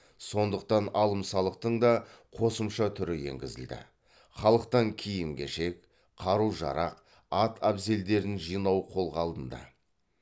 сондықтан алым салықтың да қосымша түрі енгізілді халықтан киім кешек қару жарақ ат әбзелдерін жинау қолға алынды